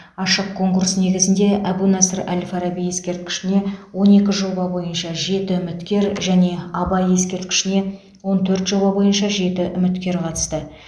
ашық конкурс негізінде әбу насыр әл фараби ескерткішіне он екі жоба бойынша жеті үміткер және абай ескерткішіне он төрт жоба бойынша жеті үміткер қатысты